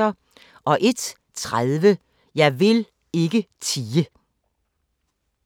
01:30: Jeg vil ikke tie!